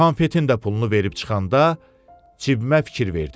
Konfetin də pulunu verib çıxanda cibimə fikir verdim.